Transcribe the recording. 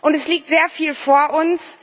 Es liegt sehr viel vor uns.